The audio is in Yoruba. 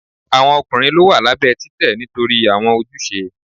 Awọn ọkunrin lọ wa labẹ titẹ nitori awọn ojuse